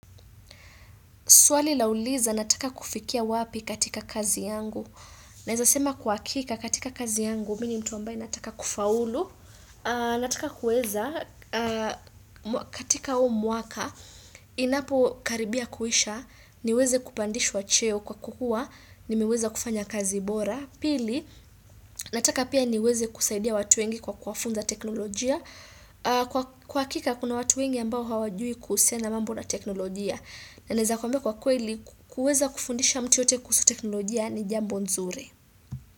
Swali la uliza, nataka kufikia wapi katika kazi yangu. Naeza sema kwa hakika katika kazi yangu, mini mtu ambaye nataka kufaulu. Nataka kuweza katika huu mwaka, inapokaribia kuisha, niweze kupandishwa cheo kwa kuwa, nimeweza kufanya kazi bora. Pili, nataka pia niweze kusaidia watu wengi kwa kuwafunza teknolojia. Kwa hakika, kuna watu wengi ambao hawajui kuhusiana mambo na teknolojia. Na naeza kuambia kwa kweli kuweza kufundisha mtu yeyote kuhusu teknolojia ni jambo nzuri.